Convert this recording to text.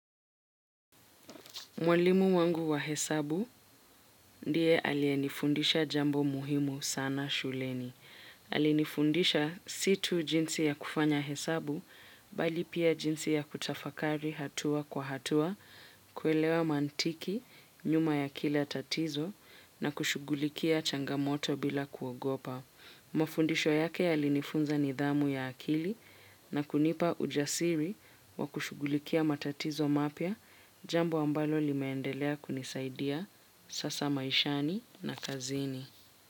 Mwalimu wangu wa hesabu, ndiye aliyenifundisha jambo muhimu sana shuleni. Alinifundisha si tu jinsi ya kufanya hesabu, bali pia jinsi ya kutafakari hatua kwa hatua, kuelewa mantiki, nyuma ya kila tatizo, na kushughulikia changamoto bila kuogopa. Mafundisho yake yalinifunza nidhamu ya akili, na kunipa ujasiri, wa kushughulikia matatizo mapya jambo ambalo limendelea kunisaidia sasa maishani na kazini.